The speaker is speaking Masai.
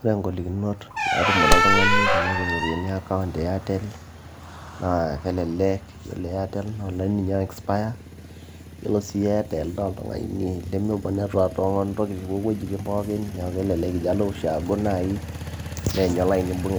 Ore inkolikinot naatumore oltung'ani tenepik iron account e Airtel naaa ore Airtel kelelek yiolo Airtel naa olaini ninye oo expire yiolo sii Airtel naa olaini limibung network toowuejitin pookin neeku kelelek ijio alo ushaago naaji neyany olaini ebung